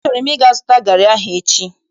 Achọrọ m ịga zụta garị ahụ echi.